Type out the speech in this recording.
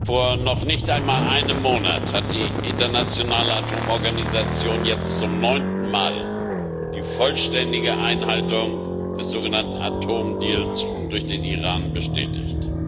Vor noch nicht einmal einem Monat hat die Internationale Atomenergie Organisation jetzt zum neunten Mal die vollständige Einhaltung des sogenannten Atomdeals durch den Iran bestätigt.